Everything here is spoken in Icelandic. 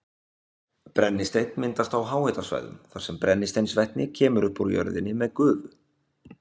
Brennisteinn myndast á háhitasvæðum þar sem brennisteinsvetni kemur upp úr jörðinni með gufu.